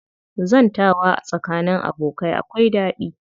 Zantawa tsakanin abokai akwai daɗi